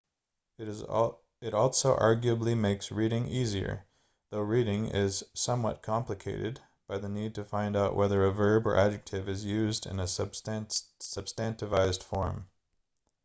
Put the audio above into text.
it also arguably makes reading easier though writing is somewhat complicated by the need to find out whether a verb or adjective is used in a substantivized form